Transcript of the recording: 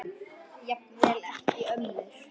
Jafnvel ekki ömmur.